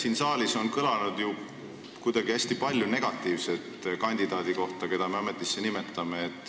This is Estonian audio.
Siin saalis on kuidagi hästi palju negatiivset kõlanud kandidaadi kohta, keda me ametisse nimetame.